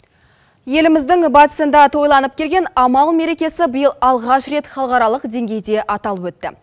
еліміздің батысында тойланып келген амал мерекесі биыл алғаш рет халықаралық деңгейде аталып өтті